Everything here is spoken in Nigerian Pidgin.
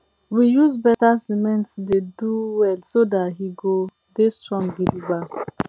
we use better siment do de well so that he go dey strong gidigba